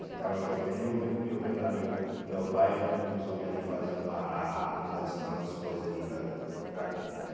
Porque estava chovendo e eu ven e eu vendo ali o meu pai junto com os homens ali fazendo a a mudança, pondo as coisas ali para para dentro, né?